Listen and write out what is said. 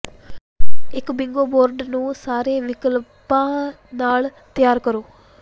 ਇੱਕ bingo board ਨੂੰ ਸਾਰੇ ਵਿਕਲਪਾਂ ਨਾਲ ਤਿਆਰ ਕਰੋ